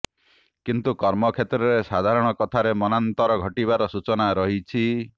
କିନ୍ତୁ କର୍ମକ୍ଷେତ୍ରରେ ସାଧାରଣ କଥାରେ ମନାନ୍ତର ଘଟିବାର ସୂଚନା ରହିଛି